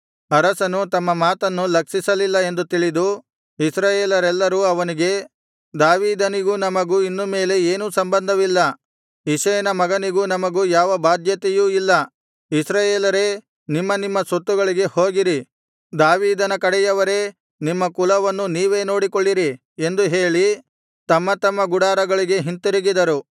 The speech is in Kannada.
ಅರಸನು ತಮ್ಮ ಮಾತನ್ನು ಲಕ್ಷಿಸಲಿಲ್ಲ ಎಂದು ತಿಳಿದು ಇಸ್ರಾಯೇಲರೆಲ್ಲರು ಅವನಿಗೆ ದಾವೀದನಿಗೂ ನಮಗೂ ಇನ್ನು ಮೇಲೆ ಏನೂ ಸಂಬಂಧವಿಲ್ಲ ಇಷಯನ ಮಗನಿಗೂ ನಮಗೂ ಯಾವ ಬಾಧ್ಯತೆಯೂ ಇಲ್ಲ ಇಸ್ರಾಯೇಲರೇ ನಿಮ್ಮ ನಿಮ್ಮ ಸ್ವತ್ತುಗಳಿಗೆ ಹೋಗಿರಿ ದಾವೀದನ ಕಡೆಯವರೇ ನಿಮ್ಮ ಕುಲವನ್ನು ನೀವೇ ನೋಡಿಕೊಳ್ಳಿರಿ ಎಂದು ಹೇಳಿ ತಮ್ಮ ತಮ್ಮ ಗುಡಾರಗಳಿಗೆ ಹಿಂತಿರುಗಿದರು